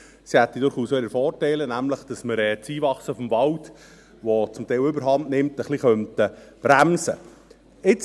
Sie hätte durchaus auch ihre Vorteile, nämlich, dass wir das Einwachsen des Waldes, das zum Teil überhandnimmt, ein bisschen bremsen könnten.